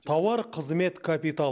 тауар қызмет капитал